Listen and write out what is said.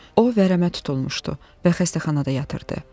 O vərəmə tutulmuşdu və xəstəxanada yatırdı.